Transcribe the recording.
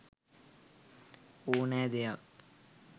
ඕනෑ දෙයක්